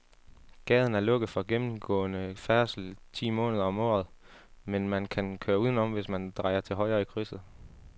Gaden er lukket for gennemgående færdsel ti måneder om året, men man kan køre udenom, hvis man drejer til højre i krydset.